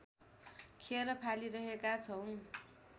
खेर फालिरहेका छौँ